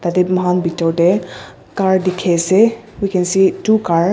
ede moikhan bitor de car dikhi ase we can see two car .